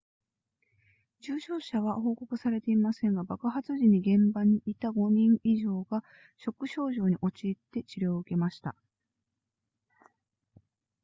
重傷者は報告されていませんが爆発時に現場にいた5人以上がショック症状に陥って治療を受けました